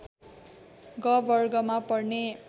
ग वर्ग मा पर्ने